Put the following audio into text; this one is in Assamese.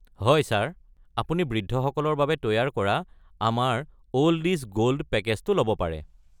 হয় ছাৰ। আপুনি বৃদ্ধসকলৰ বাবে তৈয়াৰ কৰা আমাৰ ‘অল্ড ইজ গোল্ড’ পেকেজটো ল’ব পাৰে।